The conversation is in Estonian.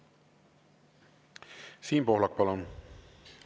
Siim Pohlak, palun!